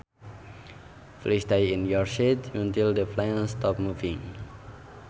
Please stay in your seat until the plane stops moving